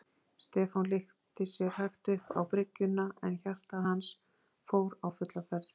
Stefán lyfti sér hægt upp á bryggjuna en hjarta hans fór á fulla ferð.